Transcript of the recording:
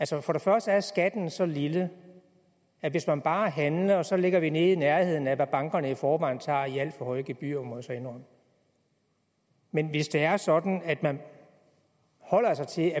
sig for første er skatten så lille at hvis man bare handler så ligger vi nede i nærheden af hvad bankerne i forvejen tager i alt for høje gebyrer må jeg så indrømme men hvis det er sådan at man holder sig til